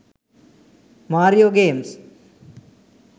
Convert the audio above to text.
mario games